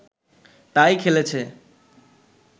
তাই খেলেছে